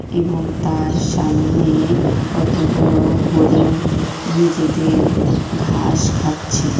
এবং তার সামনে কতগুলো হরিণ নিজেদের ঘাস খাচ্ছে।